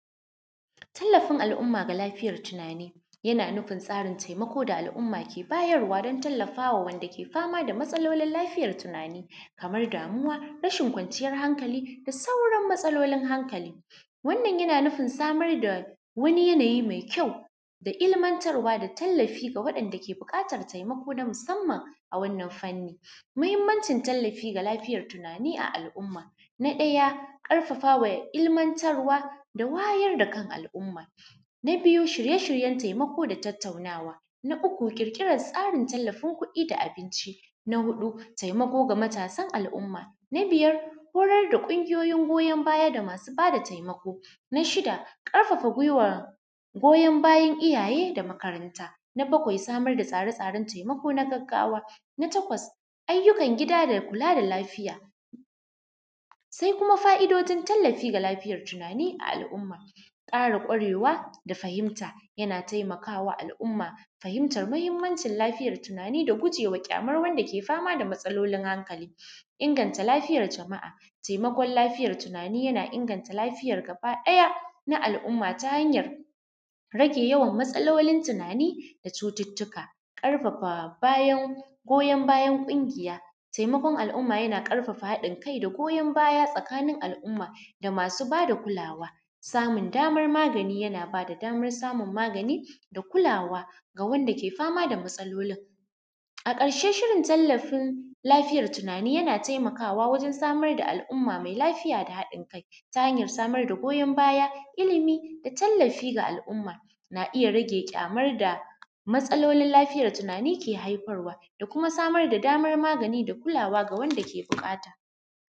Tallafin al’umma ga lafiyar tunani yana nufin tsarin taimako da al’umma ke bayarwa dan tallafawa wanda ke fama da matsalolin lafiyar tunani kaman damuwa rashin kwanciyan hankali da sauran matsalolin hankali, wannan yana nufin samar da wani yanayi mai kyau da ilmantarwa da tallafi ga waɗanda ke buƙatar taimako na musamman. A wannan fannin mahimmancin tallafi ga lafiyar tunani a al’umma na ɗaya ƙarfafawa ilmantarwa da wayar da kan al’umma, na biyu shirye-shiryen taimako da tattaunawa, na uku ƙirƙiran tsarin tallafin kuɗi da abinci, na huɗu taimako ga matasan al’umma, na biyar horar da ƙungiyan goyan baya da masu bada taimako, na shida ƙarfafa gwiwa, goyan bayan iyaye da makaranta, na bakwai samar da tsare-tsaren taimako na gaggawa, na takwas ayyukan gida da kula da lafiya. Sai kuma fa’idojin tallafi ga lafiyar tunani ga al’umma, ƙara kwarewa da fahimta yana taimakawa al’umma fahimtar mahimmancin lafiyar tunani da gujewan kyaman wanda ke fama da matsalolin hankali, inganta lafiyar jama’a taimakon lafiyar tunani yana inganta lafiyar gabaɗaya na al’umma ta hanyar rage yawan matsalolin tunani da cututtuka ƙarfafa bayan goyan bayan ƙungiya. Taimakon al’umma yana ƙarfafa haɗin kai da goyon baya tsakanin al’umma da masu ba da kulawa, samun damar magani yana bada damar samun magani da kulawa ga wanda ke fama da matsalolin. A ƙarshe shirin tallafin lafiyar tunani yana taimakawa wajen samar da al’umma mai lafiya da hadin kai ta hanyar samar da goyan baya, ilimi da tallafi ga al’umma na iya rage kyamar da matsalolin lafiyar tunani ke haifarwa da kuma samar da damar magani da kulawa ga wanda ke bu ƙata.